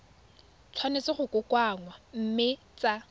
tshwanetse go kokoanngwa mme tsa